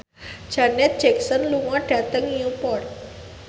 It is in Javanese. Janet Jackson lunga dhateng Newport